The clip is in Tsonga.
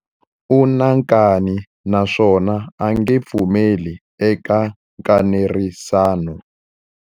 U na nkani naswona a nge pfumeli eka nkanerisano.